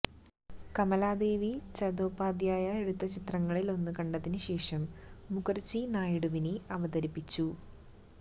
കമലാദേവി ചതോപാധ്യായ എടുത്ത ചിത്രങ്ങളിലൊന്ന് കണ്ടതിന് ശേഷം മുഖർജി നായിഡുവിനെ അവതരിപ്പിച്ചു